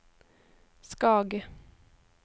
Skage